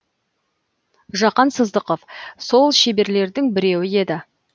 жақан сыздықов сол шеберлердің біреуі еді